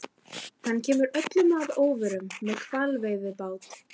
Hann kemur öllum að óvörum- með hvalveiðibát!